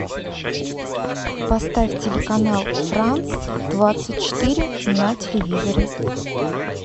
поставь телеканал франц двадцать четыре на телевизоре